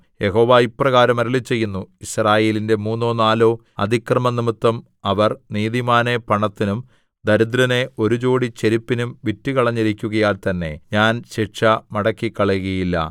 യഹോവ ഇപ്രകാരം അരുളിച്ചെയ്യുന്നു യിസ്രായേലിന്റെ മൂന്നോ നാലോ അതിക്രമംനിമിത്തം അവർ നീതിമാനെ പണത്തിനും ദരിദ്രനെ ഒരു ജോടി ചെരുപ്പിനും വിറ്റുകളഞ്ഞിരിക്കുകയാൽ തന്നെ ഞാൻ ശിക്ഷ മടക്കിക്കളയുകയില്ല